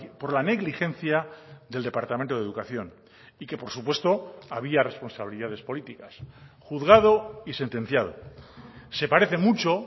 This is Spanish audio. por la negligencia del departamento de educación y que por supuesto había responsabilidades políticas juzgado y sentenciado se parece mucho